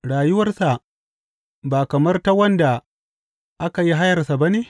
Rayuwarsa ba kamar ta wanda aka yi hayarsa ba ne?